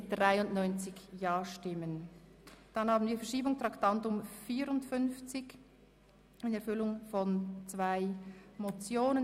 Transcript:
Wir kommen zum Ordnungsantrag 17 auf Verschiebung in Erfüllung von zwei Motionen.